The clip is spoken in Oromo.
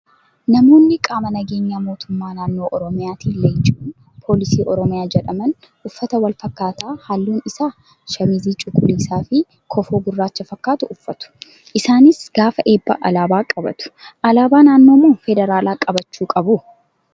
Namoonni qaama nageenya mootummaa naannoo oromiyaatiin leenji'uun poolisii oromiyaa jedhaman uffata wal fakkaataa halluun isaa shaamizii cuquliisaa fi kofoo gurraacha fakkatu uffatu. Isaanis gaafa eebbaa alaabaa qabatu. Alaabaa naannoo moo federaalaa qabachuu qabu?